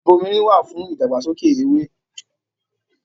Ìbomirin wà fún ìdàgbàsókè ewé